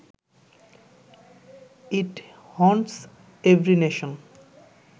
it haunts every nation